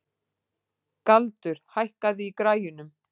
Galdur, hækkaðu í græjunum.